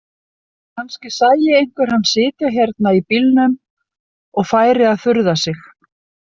Kannski sæi einhver hann sitja hérna í bílnum og færi að furða sig.